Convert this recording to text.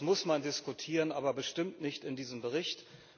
Das muss man diskutieren, aber bestimmt nicht in diesem Bericht!